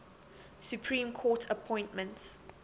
supreme court appointments